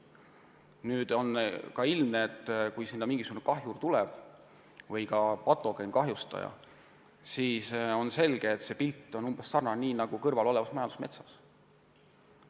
Nüüd, kui sinna mingisugune kahjur või patogeen tuleb, siis on selge, et see pilt saab olema umbes sarnane ka kõrvalolevas majandusmetsas.